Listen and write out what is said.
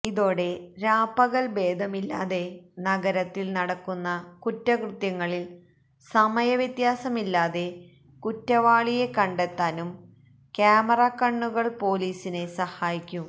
ഇതോടെ രാപ്പകല് ഭേദമില്ലാതെ നഗരത്തില് നടക്കുന്ന കുറ്റകൃത്യങ്ങളില് സമയ വ്യത്യാസമില്ലാതെ കുറ്റവാളിയെ കണ്ടെത്താനും ക്യാമറ കണ്ണുകള് പോലീസിനെ സഹായിക്കും